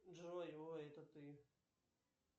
джой ой это ты